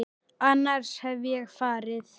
Annars hefði ég farið.